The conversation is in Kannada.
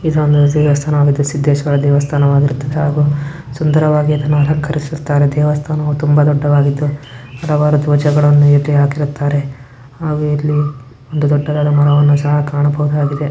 ಇದೊಂದು ದೇವಸ್ಥಾನವಾಗಿದ್ದು ಸಿದ್ದೇಶ್ವರ ದೇವಸ್ಥಾನವಾಗಿರುತ್ತದೆ ಹಾಗು ಸುಂದರವಾಗಿ ಅದನ್ನು ಅಲಂಕರಿಸುತ್ತಾರೆ ದೇವಸ್ಥಾನ ತುಂಬಾ ದೊಡ್ಡದಾಗಿದ್ದು ಹಲವಾರು ದ್ವಜಗಳನ್ನು ಹಾಕಿರುತ್ತಾರೆ ಹಾಗು ಇಲ್ಲಿ ಒಂದು ದೊಡ್ಡದಾದ ಮರವನ್ನು ಸಹ ಕಾಣಬಹುದಾಗಿದೆ.